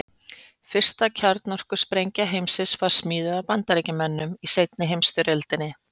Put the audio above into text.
Fyrsta kjarnorkusprengja heimsins var smíðuð af Bandaríkjamönnum í seinni heimsstyrjöldinni.